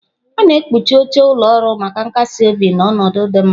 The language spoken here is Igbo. A na-ekpuchi oche ụlọ ọrụ maka nkasi obi na ọnọdụ dị mma.